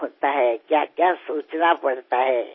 ఎంతగానో ఆలోచించాల్సి ఉంటుంది